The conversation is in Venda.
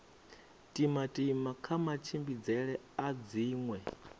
timatima kha matshimbidzele a dziṅwe